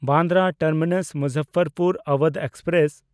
Bandra Terminus Muzaffarpur Awadh express